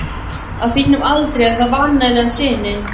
Á þínum aldri er það vanalega sinin.